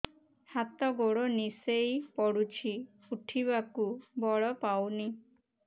ହାତ ଗୋଡ ନିସେଇ ପଡୁଛି ଉଠିବାକୁ ବଳ ପାଉନି